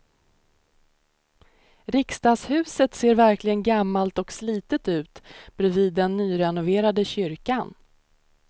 Riksdagshuset ser verkligen gammalt och slitet ut bredvid den nyrenoverade kyrkan.